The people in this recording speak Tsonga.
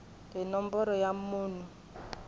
hi nomboro ya munhu ku